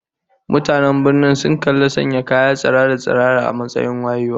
Mutanen birnin sun kalli sanya kaya tsirara-tsirara a matsayin wayewa